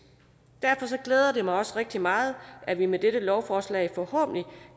derfor glæder det mig også rigtig meget at vi med dette lovforslag forhåbentlig